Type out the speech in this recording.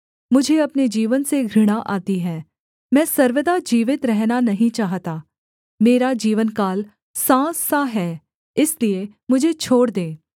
मुझे अपने जीवन से घृणा आती है मैं सर्वदा जीवित रहना नहीं चाहता मेरा जीवनकाल साँस सा है इसलिए मुझे छोड़ दे